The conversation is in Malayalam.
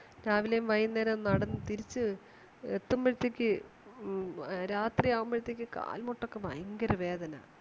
രാവിലെയും വൈകുന്നേരവും നടന്ന് തിരിച്ച് എത്തുമ്പോഴത്തേക്മ്മ് രാത്രി ആകുമ്പോഴത്തേക്ക് കാൽമുട്ടൊക്കെ ഭയങ്കര വേദന